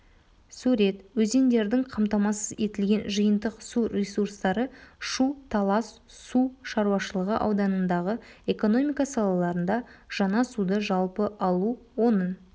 сурет өзендердің қамтамасыз етілген жиынтық су ресурстары шу-талас су шаруашылығы ауданындағы экономика салаларында жаңа суды жалпы алу оның